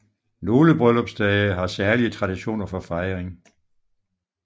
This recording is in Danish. Nogle bryllupsdage har særlige traditioner for fejring